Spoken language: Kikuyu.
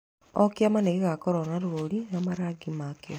O kĩama nĩgĩkoragwo na rũri na marangi makĩo